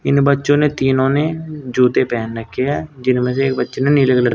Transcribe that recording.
इन बच्चों ने तीनों ने जूते पेहन रखे हैं जिनमें से एक बच्चे ने नीले कलर --